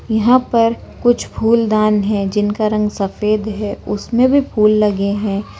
यहाँ पर कुछ फूलदान है जिनका रंग सफेद है उसमें भी फूल लगे है।